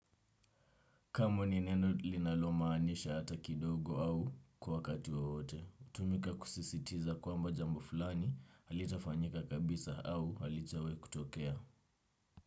Kamwe ni neno linalomaanisha hata kidogo au kwa wakati wowote. Hutumika kusisitiza kwamba jambo fulani halitafanyika kabisa au halijawahi kutokea.